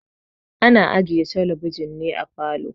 Ana ajiye talabijin ne a falo.